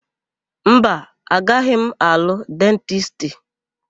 Mba, agaghị m alụ dentisti.